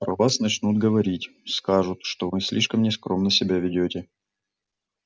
про вас начнут говорить скажут что вы слишком нескромно себя ведёте